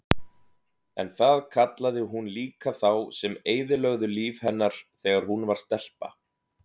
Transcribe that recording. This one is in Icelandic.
En það kallaði hún líka þá sem eyðilögðu líf hennar þegar hún var stelpa.